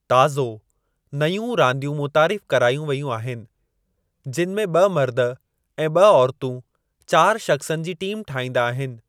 ताज़ो, नयूं रांदियूं मुतारिफ़ करायूं वेयूं आहिनि, जिनि में ॿ मर्द ऐं ॿ औरतूं चारि शख़्सनि जी टीम ठाहींदा आहिनि।